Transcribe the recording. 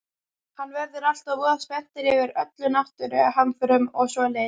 Hann verður alltaf voða spenntur yfir öllum náttúruhamförum og svoleiðis.